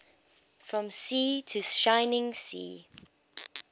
from sea to shining sea